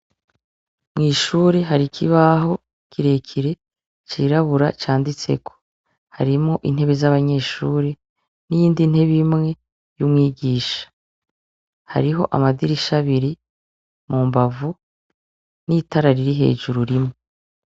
Mw'ishure hari ikibaho kirekire c'irabura canditseko, harimwo intebe z'abanyeshure n'iyindi ntebe imwe y'umwigisha, hariho amadirisha abiri mu mbavu n'itara riri hejuru rimwe.